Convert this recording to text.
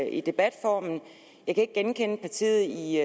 i debatformen jeg kan ikke genkende partiet i